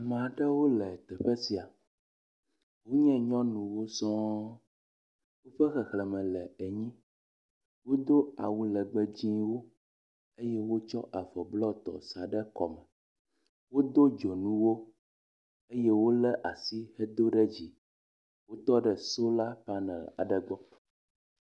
Ame aɖewo le teƒe sia, wonye nyɔnuwo sɔŋ, woƒe xexlẽme le enyi. Wodo awu legbe dzɛ̃wo eye wotsɔ avɔ blɔtɔ sa ɖe kɔme. Wodo dzonuwo eye wole asi hedo ɖe dzi, wotɔ ɖe solar panel aɖe gbɔ.